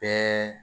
Bɛɛ